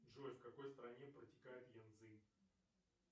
джой в какой стране протекает янцзы